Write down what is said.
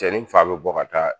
Cɛni fa be bɔ ka taa